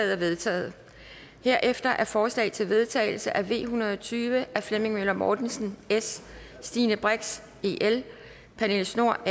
er vedtaget herefter er forslag til vedtagelse nummer v en hundrede og tyve af flemming møller mortensen stine brix pernille schnoor